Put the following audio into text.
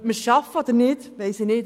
Ob wir es schaffen, weiss ich nicht.